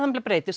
breytist